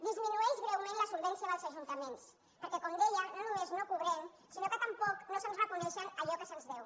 disminueix greument la solvència dels ajuntaments perquè com deia no només no cobrem sinó que tampoc no se’ns reconeix allò que se’ns deu